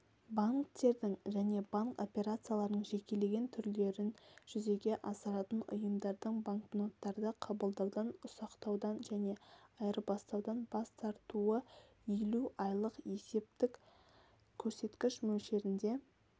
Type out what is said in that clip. банктердің және банк операцияларының жекелеген түрлерін жүзеге асыратын ұйымдардың банкноттарды қабылдаудан ұсақтаудан және айырбастаудан бас тартуы елу айлық есептік көрсеткіш мөлшерінде